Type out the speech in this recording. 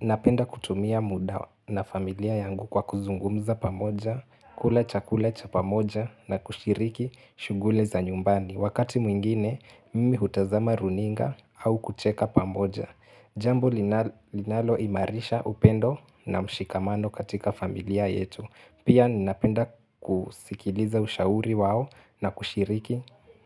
Napenda kutumia muda na familia yangu kwa kuzungumza pamoja, kula chakula cha pamoja na kushiriki shughuli za nyumbani. Wakati mwingine, mimi hutazama runinga au kucheka pamoja. Jambo linaloimarisha upendo na mshikamano katika familia yetu. Pia napenda kusikiliza ushauri wao na kushiriki